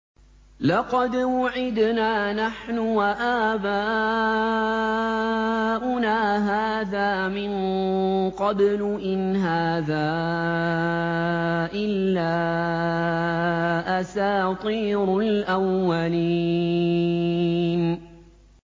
لَقَدْ وُعِدْنَا نَحْنُ وَآبَاؤُنَا هَٰذَا مِن قَبْلُ إِنْ هَٰذَا إِلَّا أَسَاطِيرُ الْأَوَّلِينَ